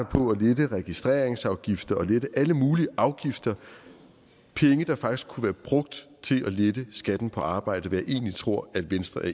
på at lette registreringsafgifter og lette alle mulige afgifter penge der faktisk kunne være brugt til at lette skatten på arbejde hvad jeg egentlig tror at venstre er